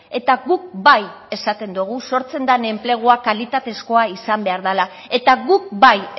eta guk bai esaten dogu sortzen dan enplegua kalitatezkoa izan behar dala eta guk bai